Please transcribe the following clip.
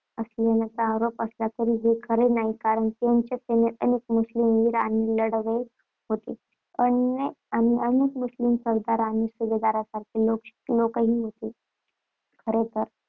असल्याचा आरोप असला तरी हे खरे नाही कारण त्यांच्या सैन्यात अनेक मुस्लिम वीर आणि लढवय्ये होते आणि अनेक मुस्लिम सरदार आणि सुभेदारांसारखे लोकही होते. खरे तर,